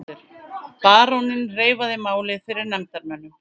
Baróninn reifaði málið fyrir nefndarmönnum.